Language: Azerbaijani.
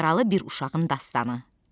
Yaralı bir uşağın dastanı.